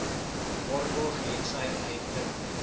waarborg hetsy uitdruklik